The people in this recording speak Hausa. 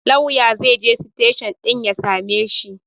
Lauyan zaije siteshin ɗin ya sameshi